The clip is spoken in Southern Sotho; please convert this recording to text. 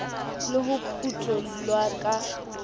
le ho phutho llwa ka